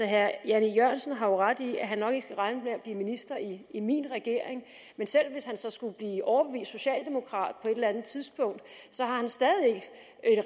herre jan e jørgensen har jo ret i at han nok ikke skal regne med at blive minister i i min regering men selv hvis han så skulle blive overbevist socialdemokrat på et eller andet tidspunkt